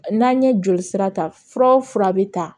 N'an ye joli sira ta fura o fura bɛ ta